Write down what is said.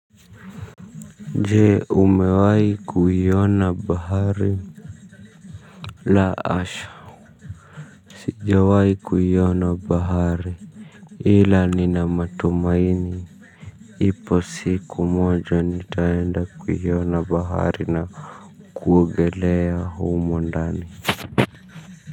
Jee umewai kuyiona bahari. La asha siijawai kuyiona bahari. Hila ni na matumaini. Ipo siku moja nitaenda kuyiona bahari na kuogelea humondani.